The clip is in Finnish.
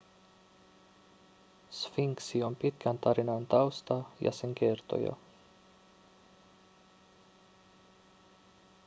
sfinksi on pitkän tarinan tausta ja sen kertoja